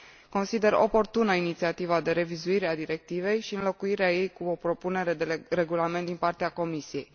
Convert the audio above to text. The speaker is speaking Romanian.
Consider oportună inițiativa de revizuire a directivei și înlocuirea ei cu o propunere de regulament din partea Comisiei.